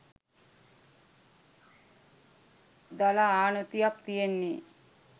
දල ආනතියත් තියෙන්නේ.